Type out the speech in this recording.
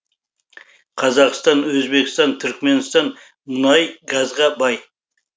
қазақстан өзбекстан түркіменстан мұнай газға бай